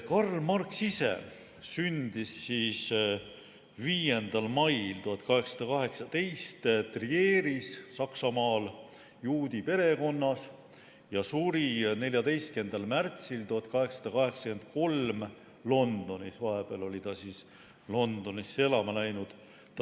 Karl Marx sündis 5. mail 1818 Saksamaal Trieris juudi perekonnas ja suri 14. märtsil 1883 Londonis, vahepeal oli ta Londonisse elama läinud.